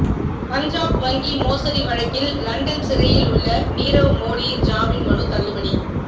பஞ்சாப் வங்கி மோசடி வழக்கில் லண்டன் சிறையில் உள்ள நீரவ் மோடியின் ஜாமின் மனு தள்ளுபடி